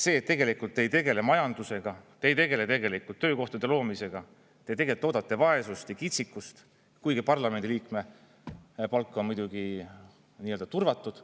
See, et tegelikult te ei tegele majandusega, te ei tegele töökohtade loomisega, te toodate vaesust ja kitsikust, kuigi parlamendi liikme palk on muidugi nii-öelda turvatud.